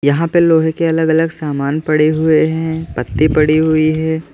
यहां पे लोहे के अलग अलग सामान पड़े हुए हैं पत्ती पड़ी हुई है।